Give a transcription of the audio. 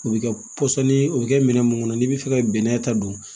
O bɛ kɛ pɔsɔni ye o bɛ kɛ minɛn mun kɔnɔ n'i bɛ fɛ ka bɛnɛ ta don